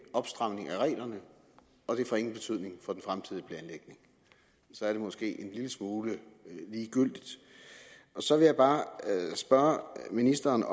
opstramning af reglerne og det får ingen betydning for den fremtidige planlægning så er det måske en lille smule ligegyldigt så vil jeg bare spørge ministeren